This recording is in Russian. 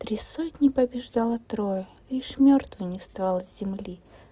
три сотни побеждало трое лишь мёртвый не вставал с земли